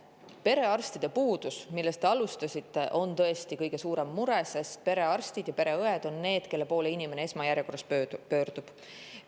Perearstide puudus, millest te alustasite, on tõesti kõige suurem mure, sest perearstid ja pereõed on need, kelle poole inimene esmajärjekorras pöördub.